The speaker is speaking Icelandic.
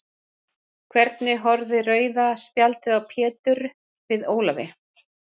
Hvernig horfði rauða spjaldið á Pétur við Ólafi?